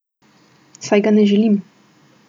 Saj ga ne želim!